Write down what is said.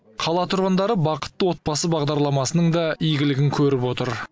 қала тұрғындары бақытты отбасы бағдарламасының да игілігін көріп отыр